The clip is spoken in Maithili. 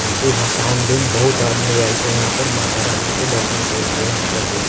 मूर्ति भसोन दिन बहुत आदमी आएल छै यहां पर माता रानी के दर्शान करे के लिए हम सब भी आएल --